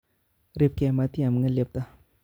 Ripke matiam nge'lepta